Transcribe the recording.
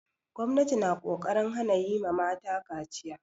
Gwamnati na ƙoƙarin hana yi ma mata kaciya.